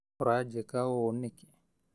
Ũranjĩka ũũnĩkĩ?